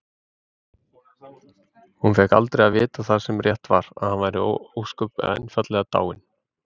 Hún fékk aldrei að vita það sem rétt var: að hann væri ósköp einfaldlega dáinn.